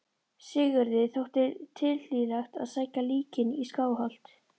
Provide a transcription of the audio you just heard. Sigurði þótti tilhlýðilegt að sækja líkin í Skálholt.